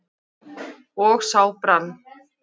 og sá brann